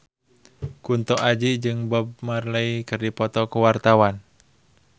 Kunto Aji jeung Bob Marley keur dipoto ku wartawan